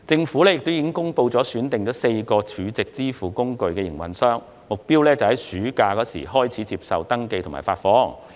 此外，政府公布已選定4間儲值支付工具營運商，目標在暑假期間開始接受登記及發放。